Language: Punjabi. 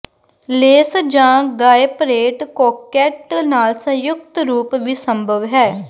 ਲੇਸ ਜਾਂ ਗਾਇਪਰੇਟ ਕੋਕੈੱਟ ਨਾਲ ਸੰਯੁਕਤ ਰੂਪ ਵੀ ਸੰਭਵ ਹੈ